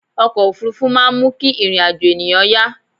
ọkọ̀ òfurufú máà ń mú kí ìrìn àjọ̀ ènìyàn yá